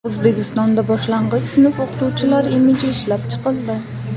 O‘zbekistonda boshlang‘ich sinf o‘qituvchilari imiji ishlab chiqildi.